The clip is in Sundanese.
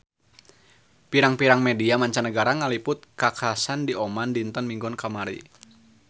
Pirang-pirang media mancanagara ngaliput kakhasan di Oman dinten Minggon kamari